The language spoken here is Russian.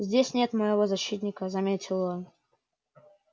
здесь нет моего защитника заметил он